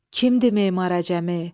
Kimdir Memar Əcəmi?